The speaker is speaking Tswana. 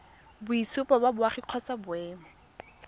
boitshupo ba boagi kgotsa boemo